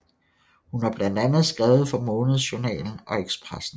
Hun har blandt andet skrevet for Månadsjournalen og Expressen